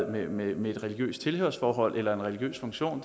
med med et religiøst tilhørsforhold eller en religiøs funktion